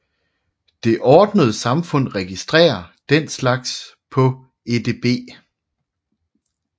Det ordnede samfund registrerer den slags på edb